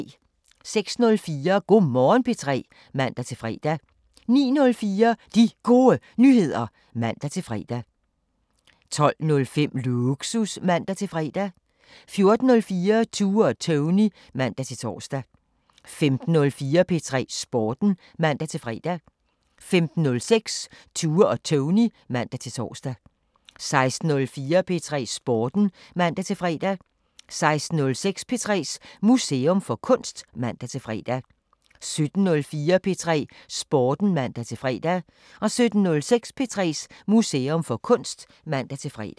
06:04: Go' Morgen P3 (man-fre) 09:04: De Gode Nyheder (man-fre) 12:05: Lågsus (man-fre) 14:04: Tue og Tony (man-tor) 15:04: P3 Sporten (man-fre) 15:06: Tue og Tony (man-tor) 16:04: P3 Sporten (man-fre) 16:06: P3s Museum for Kunst (man-fre) 17:04: P3 Sporten (man-fre) 17:06: P3s Museum for Kunst (man-fre)